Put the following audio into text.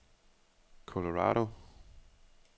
Colorado